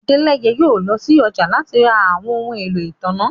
Adẹ́lẹ̀yẹ̀ yóò lọ sí ọjà láti rá àwọn ọhun ẹ̀lọ́ itánná.